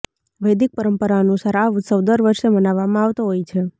વૈદિક પરંપરા અનુસાર આ ઉત્સવ દર વર્ષે મનાવવામાં આવતો હોય છે